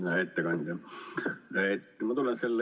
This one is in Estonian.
Hea ettekandja!